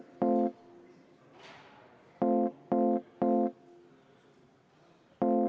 Aitäh!